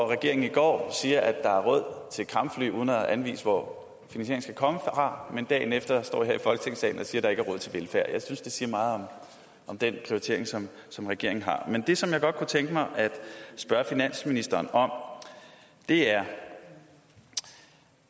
regeringen i går sagde at der er råd til kampfly uden at anvise hvor skal komme fra og dagen efter står man her i folketingssalen og siger at der ikke er råd til velfærd jeg synes det siger meget om den prioritering som som regeringen har men det som jeg godt kunne tænke mig at spørge finansministeren om er